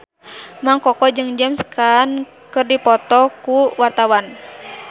Mang Koko jeung James Caan keur dipoto ku wartawan